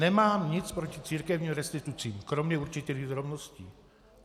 Nemám nic proti církevním restitucím, kromě určitých drobností.